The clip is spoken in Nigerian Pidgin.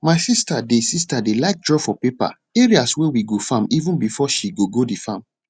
my sister dey sister dey like draw for paper areas wey we go farm even before she gogo the farm